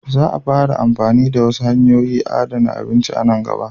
Za a fara amfani da wasu hanyoyin adana abinci a nan gaba.